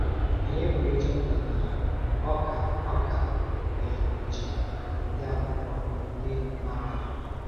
Anyị pụrụ ịchọpụta na ọ ka ọ ka nwere echiche ndị Ákwụ́kwọ ndị a na-akwàdòghị.